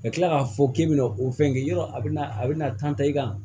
Ka tila k'a fɔ k'i bɛna o fɛn kɛ yɔrɔ a bɛ na a bɛ na tan i ka